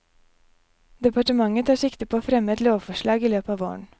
Departementet tar sikte på å fremme et lovforslag i løpet av våren.